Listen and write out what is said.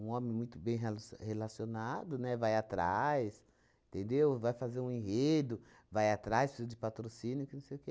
homem muito bem relci relacionado, né, vai atrás, entendeu? Vai fazer um enredo, vai atrás de patrocínio, que não sei o quê.